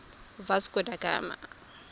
vasco da gama